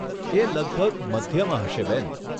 એ લગભગ મધ્યમાં હશે બેન.